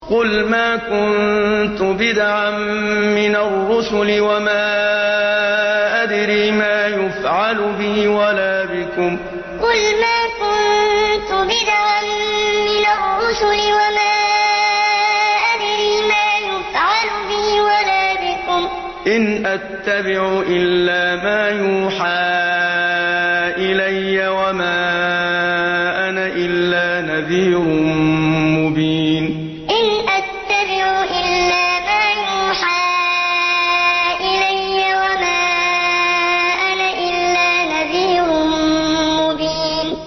قُلْ مَا كُنتُ بِدْعًا مِّنَ الرُّسُلِ وَمَا أَدْرِي مَا يُفْعَلُ بِي وَلَا بِكُمْ ۖ إِنْ أَتَّبِعُ إِلَّا مَا يُوحَىٰ إِلَيَّ وَمَا أَنَا إِلَّا نَذِيرٌ مُّبِينٌ قُلْ مَا كُنتُ بِدْعًا مِّنَ الرُّسُلِ وَمَا أَدْرِي مَا يُفْعَلُ بِي وَلَا بِكُمْ ۖ إِنْ أَتَّبِعُ إِلَّا مَا يُوحَىٰ إِلَيَّ وَمَا أَنَا إِلَّا نَذِيرٌ مُّبِينٌ